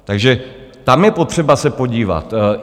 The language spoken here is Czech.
Takže tam je potřeba se podívat.